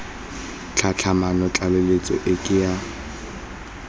tlhatlhamano tlaleletso e ke ya